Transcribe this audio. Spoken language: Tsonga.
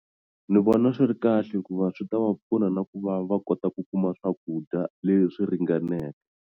Ni vona swi ri kahle hikuva swi ta va pfuna na ku va va kota ku kuma swakudya leswi swi ringaneke.